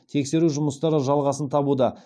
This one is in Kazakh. тексеру жұмыстары жалғасын табуда